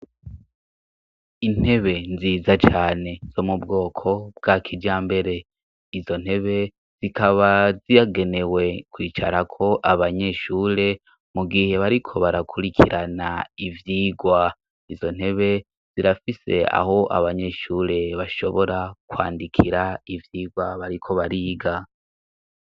Intebe nziza cane zo mu bwoko bw'a kija mbere izo ntebe zikaba ziyagenewe kwicarako abanyeshure mu gihe bariko barakurikirana ivyirwa izo ntebe zirafise aho abanyeshure bashobora kwandikira ivyirwabariko bariga.